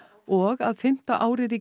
og að fimmta árið í